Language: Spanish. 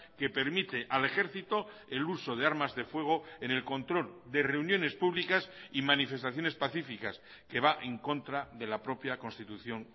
que permite al ejército el uso de armas de fuego en el control de reuniones públicas y manifestaciones pacíficas que va en contra de la propia constitución